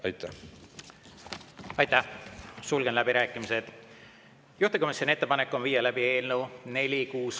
Aitäh!